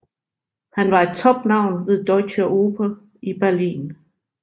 Han var et topnavn ved Deutsche Oper i Berlin